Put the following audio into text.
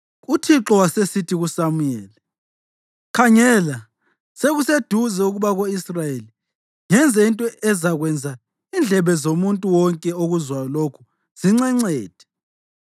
Uthixo wasesithi kuSamuyeli, “Khangela, sekuseduze ukuba ko-Israyeli ngenze into ezakwenza indlebe zomuntu wonke okuzwayo lokho zincencethe.